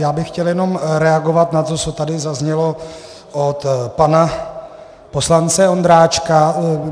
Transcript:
Já bych chtěl jenom reagovat na to, co tady zaznělo od pana poslance Ondráčka.